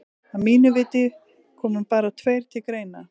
Að mínu viti koma bara tveir til greina.